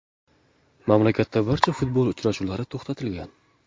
Mamlakatda barcha futbol uchrashuvlari to‘xtatilgan .